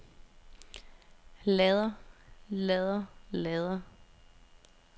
lader lader lader